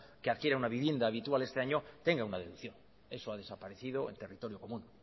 que adquiera una vivienda habitual este año tenga una deducción eso ha desaparecido en territorio común